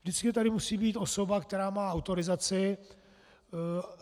Vždycky tady musí být osoba, která má autorizaci.